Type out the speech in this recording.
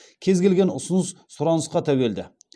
кез келген ұсыныс сұранысқа тәуелді